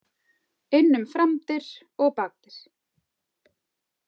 Inn um framdyr og bakdyr.